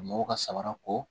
Mɔgɔw ka samara ko